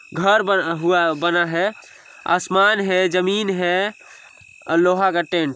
घर बना हुआ बना हैआसमान है जमीन है और लोहा का टेंट --